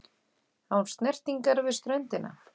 Án snertingar við ströndina.